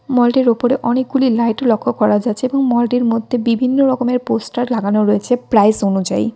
মলটির ওপরে অনেকগুলি লাইট লক্ষ্য করা যাচ্ছে এবং মলটির মধ্যে বিভিন্ন রকমের পোস্টার লাগানো রয়েছে প্রাইস অনুযায়ী।